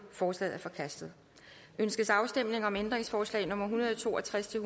forslaget er forkastet ønskes afstemning om ændringsforslag nummer en hundrede og to og tres til